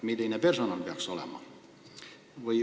Milline personal peaks olema?